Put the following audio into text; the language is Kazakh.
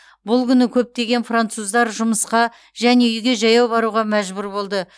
бұл күні көптеген француздар жұмысқа және үйге жаяу баруға мәжбүр болды